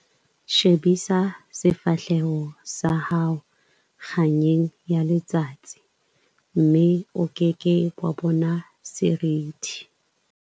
Shebisa sefahleho sa hao kganyeng ya letsatsi, mme o ke ke wa bona seriti.